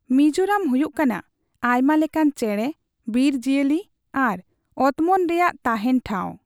ᱢᱤᱡᱳᱨᱟᱢ ᱦᱩᱭᱩᱜ ᱠᱟᱱᱟ ᱟᱭᱢᱟ ᱞᱮᱠᱟᱱ ᱪᱮᱬᱮ, ᱵᱤᱨ ᱡᱤᱭᱟᱹᱞᱤ ᱟᱨ ᱚᱛᱢᱚᱱ ᱨᱮᱭᱟᱜ ᱛᱟᱦᱮᱸᱱ ᱴᱷᱟᱣ ᱾